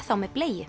þá með